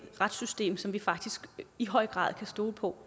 retssystem som vi faktisk i høj grad kan stole på